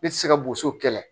Ne tɛ se ka boso kɛlɛ